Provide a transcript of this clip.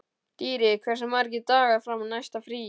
Dýri, hversu margir dagar fram að næsta fríi?